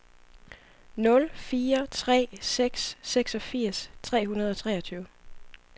nul fire tre seks seksogfirs tre hundrede og treogtyve